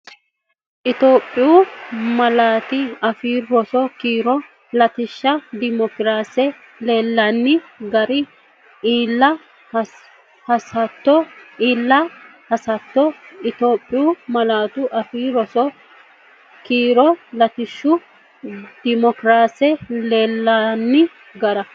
Itophiyu Malaatu Afii Roso keere latishsha dimokiraase Iillinanni darga iilla Assoote Itophiyu Malaatu Afii Roso keere latishsha dimokiraase Iillinanni darga.